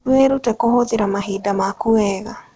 Wĩrute kũhũthĩra mahinda maku wega.